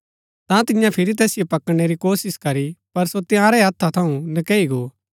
ता तियें फिरी तैसिओ पकड़णै री कोशिश करी पर सो तंयारै हत्था थऊँ नकैई गो